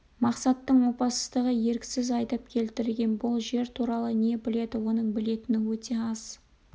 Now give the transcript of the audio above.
мақсаттың опасыздығы еріксіз айдап келтірген бұл жер туралы не біледі оның білетіні өте аз